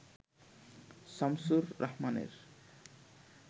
শামসুর রাহমানের